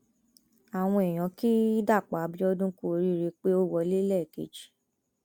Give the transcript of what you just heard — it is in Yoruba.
àwọn èèyàn ki dapò abiodun kú oríire pé ó wọlé lẹẹkejì